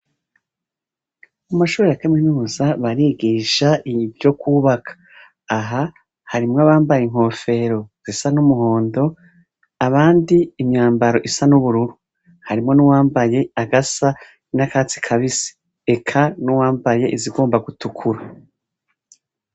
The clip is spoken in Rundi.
Mu mashure ya kaminuza barigisha ivyo kwubaka , aha harimwo abambaye inkofero zisa n'umuhondo abandi imyambaro isa n'ubururu ,harimwo n'uwambaye agasa n'akatsi kabisi eka n'uwambaye izigomba gutukura.